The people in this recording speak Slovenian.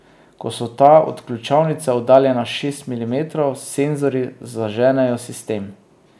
Ko so ta od ključavnice oddaljena šest milimetrov, senzorji zaženejo sistem.